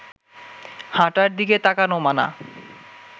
হাঁটার দিকে তাকানো মানা